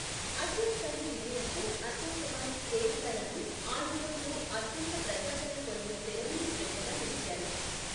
అఛూత్ కన్య విజయంతో అశోక్ కుమార్, దేవికా రాణి, ఆ యుగంలో అత్యంత ప్రజాదరణ పొందిన తెర మీది జంటగా నిలిచారు.